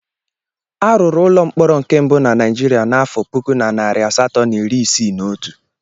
Arụrụ ụlọ mkpọrọ nke mbụ na Naijiria n'afọ puku na narị asatọ̀ na iri isii na otu.